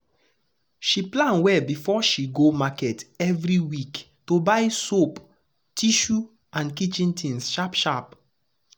she plan well before she go market every week to buy soap tissue and kitchen things sharp sharp.